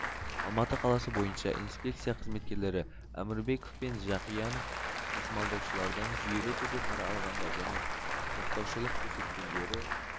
алматы қаласы бойынша инспекция қызметкерлері әмірбеков пен жақиянов тасымалдаушылардан жүйелі түрде пара алғандар және жақтаушылық көрсеткендері